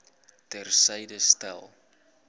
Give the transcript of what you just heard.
ter syde stel